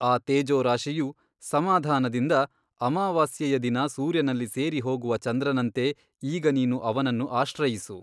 ಆ ತೇಜೋರಾಶಿಯು ಸಮಾಧಾನದಿಂದ ಅಮಾವಾಸ್ಯೆಯ ದಿನ ಸೂರ್ಯನಲ್ಲಿ ಸೇರಿಹೋಗುವ ಚಂದ್ರನಂತೆ ಈಗ ನೀನು ಅವನನ್ನು ಆಶ್ರಯಿಸು.